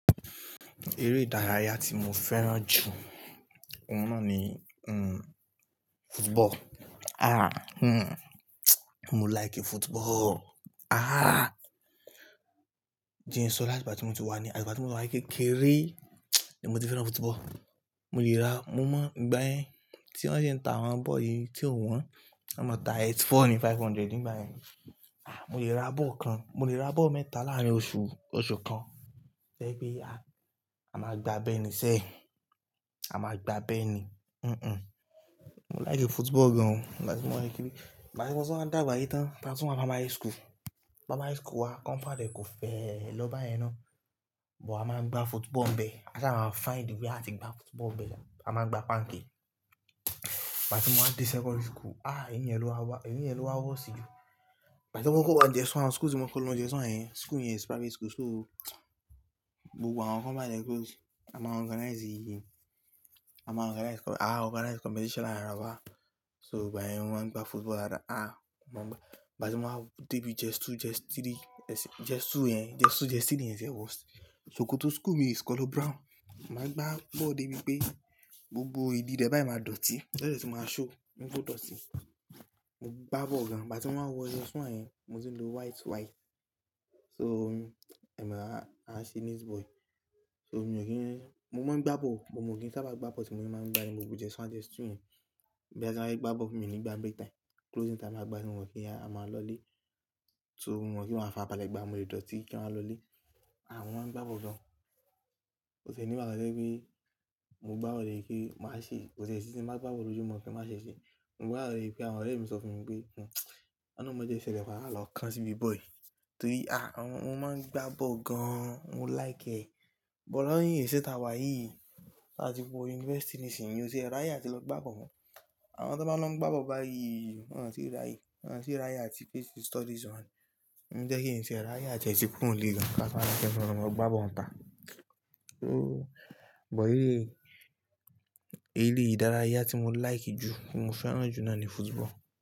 Eré ìdárayá tí mo fẹ́ràn jù náà ni, hmm, football. Ah, hmm, mo like football. Ah, jẹ̀ n sọ́ láti ìgbà tí mo ti wà ní, àti ìgbà tí mo wà ní kékeré, ni mo ti fẹ́ràn football. Mo lè ra, mo mọ ìgbà yẹn tí wọ́n ṣi ń ta àwọn bọ́ọ̀ yìí tí ó wọ́n, ọ́ máa ta earth four ni five hundred nígbà yẹn. Ah, mo lè ra bọ́ọ̀ kan, mo lè ra bọ́ọ̀ mẹ́ta láàárín oṣù, oṣù kan. To yẹ pé, ah, a máa gba bẹ́ẹ̀ ni sẹ́, a máa gba bẹ́ẹ̀ ni. Hmm hmm. Mo like football gan o. Ìgbà tí mo wà ní kékeré, ìgbà tí mo wà dàgbà yìí tán, táa tú n wà primary school, primary school wa compound ẹ kó fẹ́ lọ báyẹn ná. But a máa ń gbá football bẹ́ẹ̀. A sá máa find way a ti gbá football bẹ́ẹ̀. A máa ń gbá panke. Ìgbà tí mo wá dé secondary school, ah, èyín yẹn ló wá worst jù. Ìgbà tí mo kọkọ wan js1, school tí mo kọkọ lọ js1 yẹ̀n, school yẹn is private school so gbogbo àwọn compound yẹn close. A máa organize, a máa organize com-- àá, organize competition láàárín ara wa. So ìgbà yẹn mo ma ń gbá football dáadáa. Ah, mo ń gbá. Ìgbà tí mo wáa ń dé bí js two js three, js two yẹ̀n, js two js three yẹn ti ẹ̀ worst. Sokoto school mìí is color brown. Mo máa ń gbá bọ́ọ̀ débi pé gbogbo ìdí rẹ́ bà yìí máa dọ̀tí. Tó dẹ́ tu máa ṣhow, n pe o dọ̀tí. Mo gbá bọ́ọ̀ gan. Ìgbà tí mo wáa wọ ss one yen, mo ti ń lo white white. So, hmm, ẹ̀mi aa, aa ṣe neat boy. So mo kò kí n-- mo mọ̀ ọ́n ń gbá bọ́ọ̀, but mo kí n sá bá gbá bọ́ọ̀ bí mo tí máa ń gbá ní gbogbo js one, js two yẹn. Boyaà tí n bá fẹ̀ gbá bọ́ọ̀ mi o ni gbà break time, closing time máa gbá tí mo mọ̀ọ́ pe a máa lọlé. So mo mọ̀ pe máa fàrabalẹ́ gba, mo lè dọ̀tí kí wan lọlé. Ah, mo máa ń gbá bọ́ọ̀ gan. Oo tì ẹ̀ ní ìgbákan to jẹ pé mo gbá bọ́ọ̀ débi pe máa ṣe, ko tì ẹ̀ sí tin bá gbá bọ́ọ̀ lójú mọ́ kin máa ṣe ṣé. Mo gbá bọ́ọ̀ débi pé àwọn ọ̀rẹ́ mi sọ fún mi pé, hmm, ọ̀lọ́hun ma jẹ o ṣẹlẹ̀ papa lọ́kan síbi bọ́ọ̀ yìí. Torí, ah, mo máa ń gbá bọ́ọ̀ gan. Mo like ẹ. But lọ́nyii iṣẹ̀ ta wa yìí, tá ti wọ university nísìyí, èèyàn ti ẹ ráyé a ti lọ gbá bọ́ọ̀ mọ́. Àwọn tó bá lọ ń gbá bọ́ọ̀ báyìí, wọ́n ti rí ráyè. Wọ́n tì ráyè a ti face studies wọn ni. Ǹjẹ́ kí n tìẹ̀ ráyè a ti ẹ ti kúrò n lé gan ká to wa máa ṣọ àti lọ́ má gbá bọ́ọ̀ tá. So, but yìí, eré ìdárayá tí mo like jù, ti mo fẹ́ràn jù náà ni football.